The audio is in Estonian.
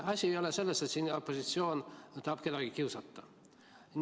Asi ei ole selles, et siin opositsioon tahab kedagi kiusata.